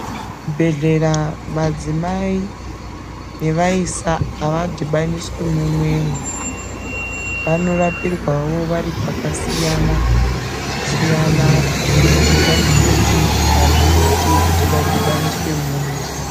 Kuchibhedhlera madzimai nevaisa havadhibaniswi mumwemwo. Vanorapirwawo vari kwakasiyana siyana kubudikidza ngekuti hazviiti kuti vadhibaniswe mumwe.